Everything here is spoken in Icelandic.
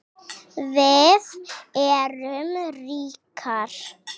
Við erum ríkar